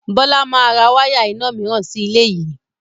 Bọlá máa ra wáyà ìna mìíràn sì ilé yìí